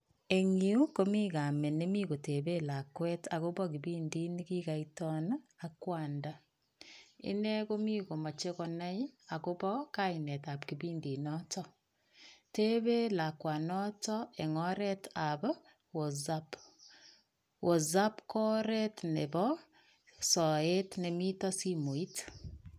Eng' yu komi kamet nemi koteben lakwet agobo kipindit nekikoiton ak kwanda, ine komi komoche konai agobo kainetab kipindinoton. Teben lakwanoton en oretab wosap. Wosap ko oret nebo soet nemiten simoit.